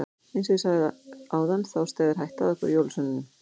Eins og ég sagði áðan þá steðjar hætta að okkur jólasveinunum.